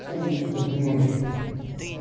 а я буду говорить напрямую